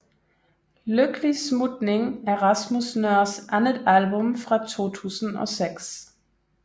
Lykkelig Smutning er Rasmus Nøhrs andet album fra 2006